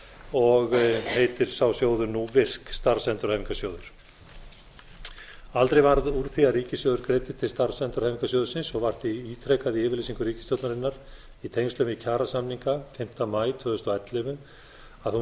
og heitir sá sjóður nú virk starfsendurhæfingarsjóður aldrei varð úr því að ríkissjóður greiddi til starfsendurhæfingarsjóðsins og var því ítrekað í yfirlýsingu ríkisstjórnarinnar í tengslum við kjarasamninga fimmta maí tvö þúsund og ellefu að hún